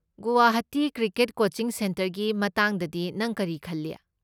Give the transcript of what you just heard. Guwahati cricket coaching ꯁꯦꯟꯇꯔꯒꯤ ꯃꯇꯥꯡꯗꯗꯤ ꯅꯪ ꯀꯔꯤ ꯈꯜꯂꯤ?